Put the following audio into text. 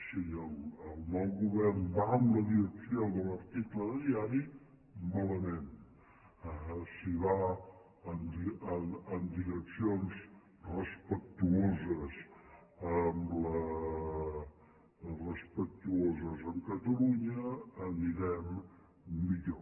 si el nou govern va en la direcció de l’article de diari malament si va en direccions respectuoses amb catalunya anirem millor